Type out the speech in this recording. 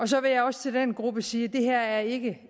så vil jeg også til den gruppe sige at det her ikke